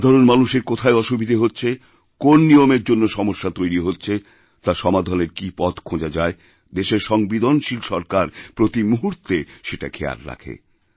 সাধারণ মানুষের কোথায় অসুবিধা হচ্ছে কোন নিয়মের জন্য সমস্যা তৈরি হচ্ছে তার সমাধানেরকী পথ খোঁজা যায় দেশের সংবেদনশীল সরকার প্রতি মুহূর্তে সেটা খেয়াল রাখে